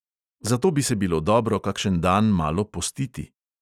Zato bi se bilo dobro kakšen dan malo postiti.